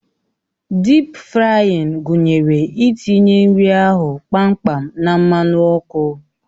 Dịp frayịn gụnyere itinye nri ahụ kpamkpam na mmanụ ọkụ